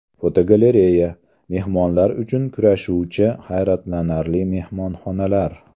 Fotogalereya: Mehmonlar uchun kurashuvchi hayratlanarli mehmonxonalar.